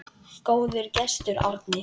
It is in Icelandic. Góður gestur, Árni.